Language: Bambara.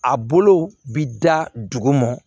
A bolo bi da duguma